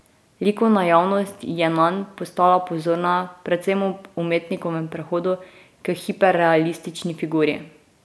Likovna javnost je nanj postala pozorna predvsem ob umetnikovem prehodu k hiperrealistični figuri.